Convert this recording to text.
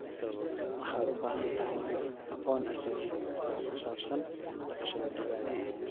Waxaad u baahan tahay aqoon aasaasi ah oo ku saabsan dhaqashada digaagga.